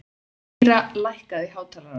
Týra, lækkaðu í hátalaranum.